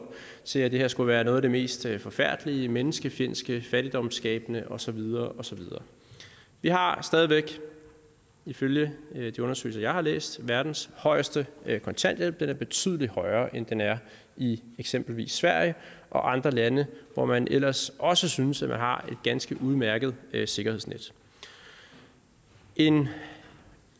til at det her skulle være noget af det mest forfærdelige menneskefjendske fattigdomsskabende og så videre og så videre vi har ifølge de undersøgelser jeg har læst verdens højeste kontanthjælp den er betydelig højere end den er i eksempelvis sverige og andre lande hvor man ellers også synes at man har et ganske udmærket sikkerhedsnet en